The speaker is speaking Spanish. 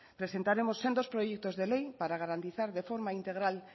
presentaremos sendos proyectos de ley para garantizar de forma integral